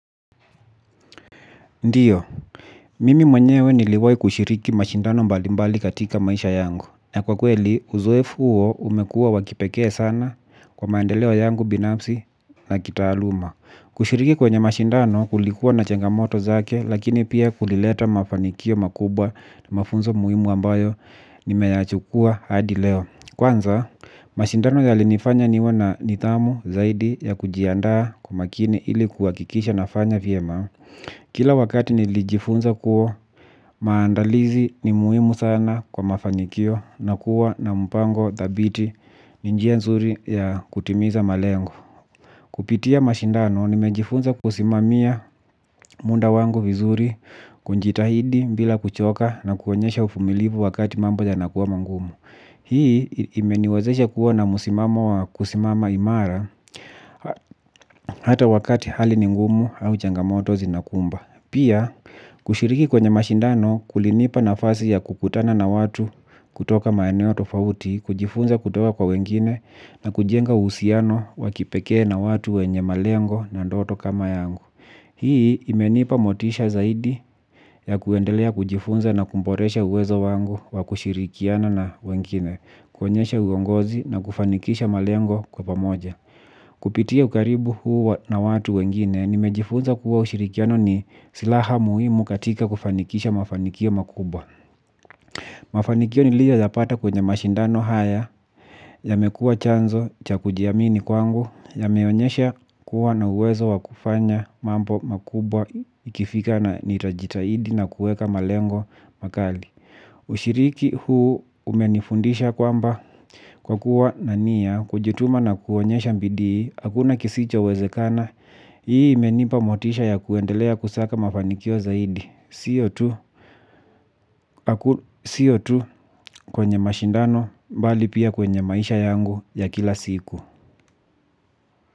Ndio, mimi mwenyewe niliwai kushiriki mashindano mbalimbali katika maisha yangu. Na kwa kweli, uzoefu umekuwa wa kipekee sana kwa maendeleo yangu binafsi na kitaaluma. Kushiriki kwenye mashindano kulikuwa na changamoto zake lakini pia kulileta mafanikio makubwa na mafunzo muhimu ambayo nimeyachukua hadi leo. Kwanza, mashindano yalinifanya niwe na nidhamu zaidi ya kujiandaa kwa umakini ilikuwa kuhakikisha nafanya vyema. Kila wakati nilijifunza kuwa maandalizi ni muhimu sana kwa mafanikio na kuwa na mpango thabiti ni njia nzuri ya kutimiza malengo. Kupitia mashindano nimejifunza kusimamia muda wangu vizuri kujitahidi bila kuchoka na kuonyesha uvumilivu wakati mambo yanakuwa magumu. Hii imeniwazesha kuwa na msimamo wa kusimama imara hata wakati hali ni ngumu au changamoto zinakumba. Pia, kushiriki kwenye mashindano kulinipa nafasi ya kukutana na watu kutoka maeneo tofauti, kujifunza kutoka kwa wengine na kujenga uhusiano wa kipekee na watu wenye malengo na ndoto kama yangu. Hii imenipa motisha zaidi ya kuendelea kujifunza na kuboresha uwezo wangu wa kushirikiana na wengine, kuonyesha uongozi na kufanikisha malengo kwa pamoja. Kupitia ukaribu huu na watu wengine, nimejifunza kuwa ushirikiano ni silaha muhimu katika kufanikisha mafanikio makubwa. Mafanikio niliyoyapata kwenye mashindano haya, yamekuwa chanzo cha kujiamini kwangu, yameonyesha kuwa na uwezo wa kufanya mambo makubwa ikifika na nitajitahidi na kuweka malengo makali. Ushiriki huu umenifundisha kwamba kwa kuwa na nia kujituma na kuonyesha bidii, hakuna kisichowezekana. Hii imenipa motisha ya kuendelea kusaka mafanikio zaidi sio tu sio tu kwenye mashindano bali pia kwenye maisha yangu ya kila siku.